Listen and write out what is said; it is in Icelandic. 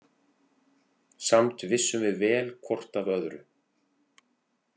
Samt vissum við vel hvort af öðru.